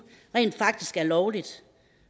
rent faktisk er lovligt